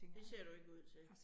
Det ser du ikke ud til